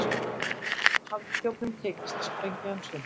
Hafði þjófnum tekist að sprengja hann sundur.